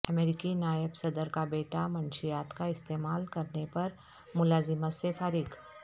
امریکی نائب صدر کا بیٹا منشیات کا استعمال کرنے پر ملازمت سے فارغ